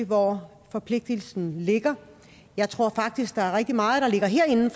hvor forpligtelsen ligger jeg tror faktisk der er rigtig meget der ligger herinde